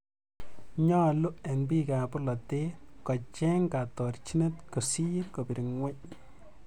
nyooluu eng biikab bolotee kocheny kaatorchinet kosiir kobire ng'weny.